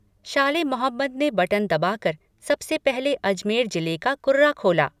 शाले मोहम्मद ने बटन दबाकर सबसे पहले अजमेर जिले का कुर्रा खोला।